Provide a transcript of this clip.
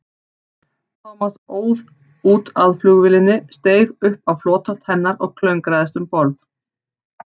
Thomas óð út að flugvélinni, steig upp á flotholt hennar og klöngraðist um borð.